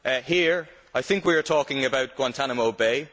Here, I think we are talking about Guantánamo Bay.